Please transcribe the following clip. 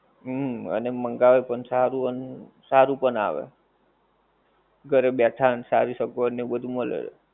હમ અને મંગાવે પણ સારું અન સારું પણ આવે ઘરે બેઠા ને સારી સગવડ ને બધું મળે